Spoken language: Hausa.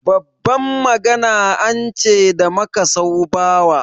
Babban magana an ce da makasau bawa.